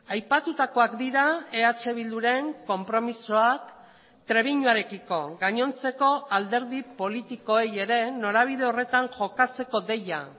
aipatutakoak dira eh bilduren konpromisoak trebiñuarekiko gainontzeko alderdi politikoei ere norabide horretan jokatzeko deia